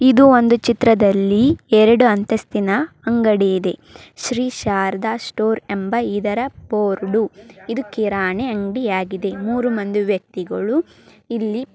ಇದು ಒಂದು ಚಿತ್ರದಲ್ಲಿ ಎರಡು ಅಂತಸ್ತಿನ ಅಂಗಡಿ ಇದೆ ಶ್ರೀ ಶಾರದಾ ಸ್ಟೋರ್ ಎಂಬ ಇದರ ಬೋರ್ಡ್ . ಇದ್ ಕಿರಾಣಿ ಅಂಗಡಿಯಾಗಿದೆ. ಮೂರೂ ಮಂದಿ ವ್ಯಕ್ತಿಗಳು ಇಲ್ಲಿ--